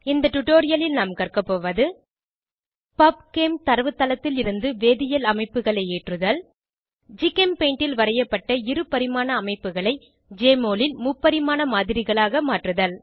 இந்த டுடோரியலில் நாம் கற்கபோவது பப்செம் தரவுத்தளத்திலிருந்து வேதியியல் அமைப்புகளை ஏற்றுதல் ஜிகெம்பெயிண்டில் வரையப்பட்ட இருபரிமாண அமைப்புகளை ஜெஎம்ஒஎல் ல் முப்பரிமாண மாதிரிகளாக மாற்றுதல்